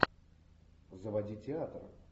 заводи театр